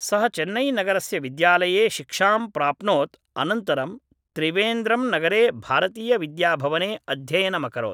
सः चेन्नैनगरस्य विद्यालये शिक्षां प्राप्नोत् अनन्तरं त्रिवेन्द्रम्नगरे भारतीयविद्याभवने अध्ययनमकरोत्